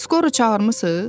Skoru çağırmısız?